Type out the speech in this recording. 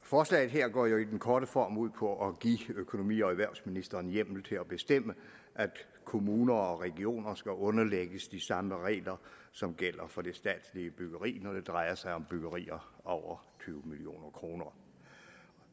forslaget her går jo i den korte form ud på at give økonomi og erhvervsministeren hjemmel til at bestemme at kommuner og regioner skal underlægges de samme regler som gælder for det statslige byggeri når det drejer sig om byggerier over tyve million kroner